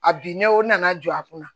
A bin ne o nana jɔ a kunna